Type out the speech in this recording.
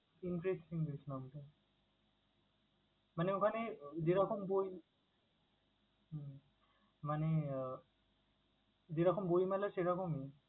Interesting জিনিস লাগছে। মানে ওখানে যেরকম বই হুম মানে যেরকম বই মেলা সেরকমই?